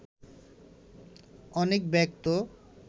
অনেক ব্যক্ত